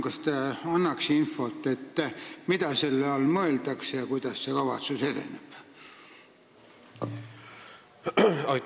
Kas te palun annaksite infot, mida selle all mõeldakse ja kuidas see kavatsus edeneb?